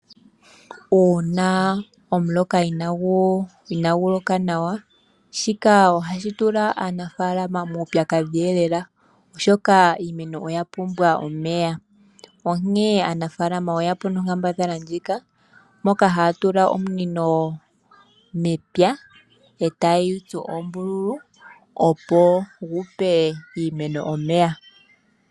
Uuna omuloka inaagu loka nawa shika ohashi tula aanafaalama muupyakadhi oshoka iimeno oya pumbwa omeya . Aanafaalama oyeya po nomukalo ngoka gokutula ominino mepya moka tayeyi tsu oombululu opo yipe iimeno omeya.